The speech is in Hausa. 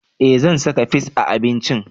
Eh zan saka fis a abincin